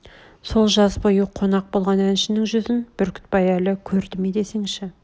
сол жаз бойы қонақ болған әншнің жүзін бүркітбай әл көрді ме десеңші